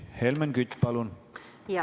Helmen Kütt, palun!